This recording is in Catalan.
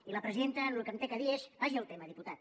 i la presidenta el que m’ha de dir és vagi al tema diputat